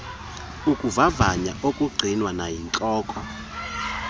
ukuvavanya ongqinwa nayintloko